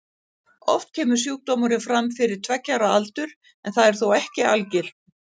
Oft kemur sjúkdómurinn fram fyrir tveggja ára aldur en það er þó ekki algilt.